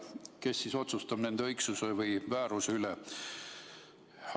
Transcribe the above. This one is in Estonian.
Kes siis otsustab nende õigsuse või vääruse üle?